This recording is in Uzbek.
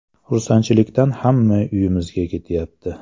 Xursandchilikdan hamma uyimizga kelyapti.